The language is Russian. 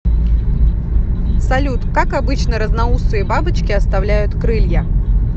салют как обычно разноусые бабочки оставляют крылья